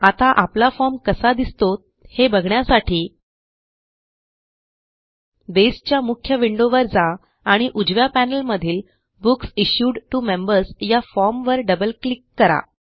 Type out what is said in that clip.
आता आपला फॉर्म कसा दिसतो हे बघण्यासाठी बेसच्या मुख्य विंडोवर जा आणि उजव्या पॅनेल मधील बुक्स इश्यूड टीओ मेंबर्स या formवर डबल क्लिक करा